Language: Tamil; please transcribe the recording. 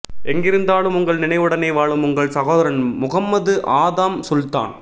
எங்கிருந்தாலும் உங்கள் நினைவுடனே வாழும் உங்கள் சகோதரன் முஹம்மது ஆதம் சுல்தான்